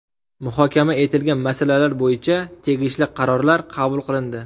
Muhokama etilgan masalalar bo‘yicha tegishli qarorlar qabul qilindi.